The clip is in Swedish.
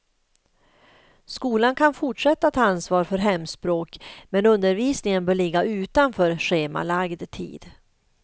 Skolan kan fortsätta att ha ansvar för hemspråk men undervisningen bör ligga utanför schemalagd tid.